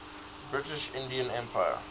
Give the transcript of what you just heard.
british indian empire